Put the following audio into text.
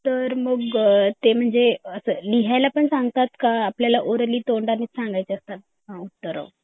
तर मग ते लिहायला पण सांगतात का आपल्याला ओरळली तोंडाने सांगायचे असतात उत्तर